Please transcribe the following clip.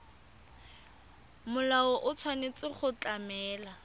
molao o tshwanetse go tlamela